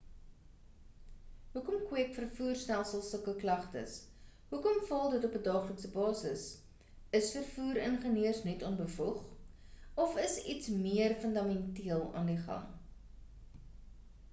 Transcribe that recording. hoekom kweek vervoerstelsels sulke klagtes hoekom faal dit op 'n daaglikse basis is vervoer ingeneurs net onbevoeg of is iets meer fundamenteel aan die gang